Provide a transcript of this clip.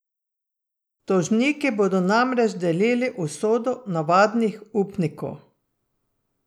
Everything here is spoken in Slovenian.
Tožniki bodo namreč delili usodo navadnih upnikov.